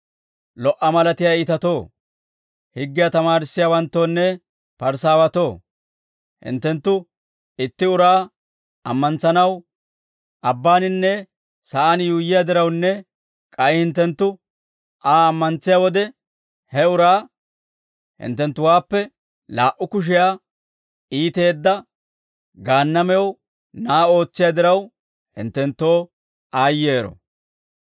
«Lo"a malatiyaa iitatoo, higgiyaa tamaarissiyaawanttoonne Parisaawatoo hinttenttu itti uraa ammantsanaw abbaaninne sa'aan yuuyyiyaa dirawunne k'ay hinttenttu Aa ammantsiyaa wode, he uraa hinttenttuwaappe laa"u kushiyaa iiteedda Gaannamew na'aa ootsiyaa diraw, hinttenttoo aayyero.